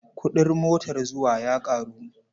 Kuɗin motar zuwa ya ƙaru.